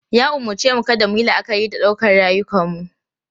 Ya umarce mu kada mu yi la'akari da ɗaukar rayukanmu.